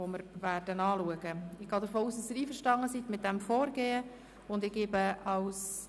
Ich gehe davon aus, dass Sie mit diesem Vorgehen einverstanden sind.